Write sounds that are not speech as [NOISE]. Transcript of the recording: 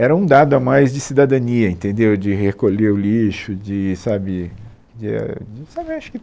Era um dado a mais de cidadania entendeu, de recolher o lixo de sabe de eh de [UNINTELLIGIBLE]